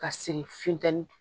Ka segin funtɛni